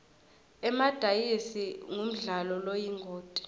emadayizi ngumdlalo loyingoti